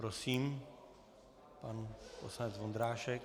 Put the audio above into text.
Prosím, pan poslanec Vondrášek.